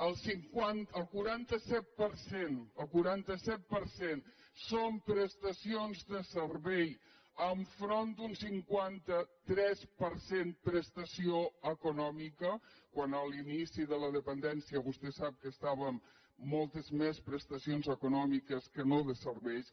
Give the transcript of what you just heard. el quaranta set per cent el quaranta set per cent són prestacions de servei enfront d’un cinquanta tres per cent de prestació econòmica quan en l’inici de la dependència vostè sap que estàvem amb moltes més prestacions econòmiques que no de serveis